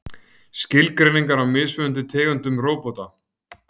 Skilgreiningar á mismunandi tegundum róbóta.